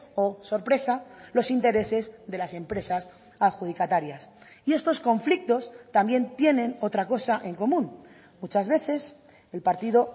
oh sorpresa los intereses de las empresas adjudicatarias y estos conflictos también tienen otra cosa en común muchas veces el partido